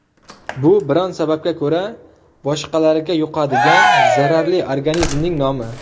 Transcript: Bu biron sababga ko‘ra boshqalarga yuqadigan zararli organizmning nomi.